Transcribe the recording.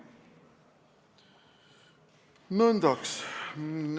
Nõndaks.